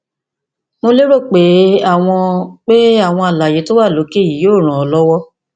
mo lérò pé àwọn pé àwọn àlàyé tó wà lókè yìí yóò ràn ọ lọwọ